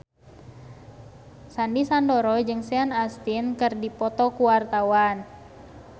Sandy Sandoro jeung Sean Astin keur dipoto ku wartawan